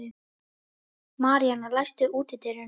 Maríana, læstu útidyrunum.